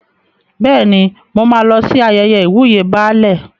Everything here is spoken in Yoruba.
Bẹ́ẹ̀ni, mo máa lọ sí ayẹyẹ ìwúyè Baálẹ̀.